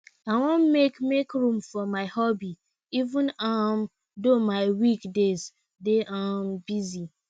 i wan make make room for my hobby even um though my week days dey um busy